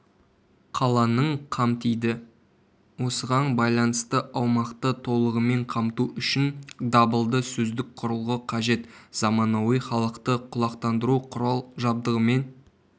қаланың қамтиды осыған байланысты аумақты толығымен қамту үшін дабылды-сөздік құрылғы қажет заманауи халықты құлақтандыру құрал-жабдығымен